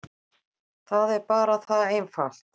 Það er bara það einfalt.